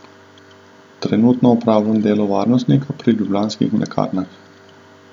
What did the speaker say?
Trenutno opravljam delo varnostnika pri Ljubljanskih mlekarnah.